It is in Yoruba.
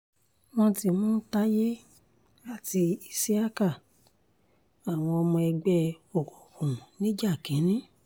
wọ́n ti mú tayé àti ìṣíákà àwọn ọmọ ẹgbẹ́ òkùnkùn nìjànìkìn